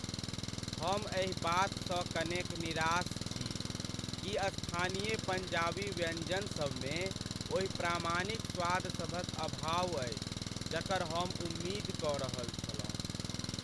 हम एहि बातसँ कनेक निराश छी कि स्थानीय पञ्जाबी व्यंजनसभमे ओहि प्रामाणिक स्वादसभक अभाव अछि जकर हम उम्मीद कऽ रहल छलहुँ।